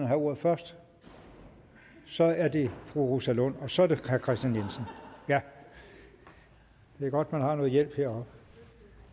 have ordet først så er det fru rosa lund og så er det herre kristian jensen det er godt man har noget hjælp heroppe